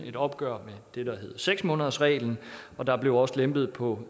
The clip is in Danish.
et opgør med seks måneders reglen og der blev også lempet på